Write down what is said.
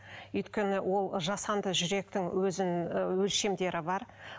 өйткені ол жасанды жүректің өзінің өлшемдері бар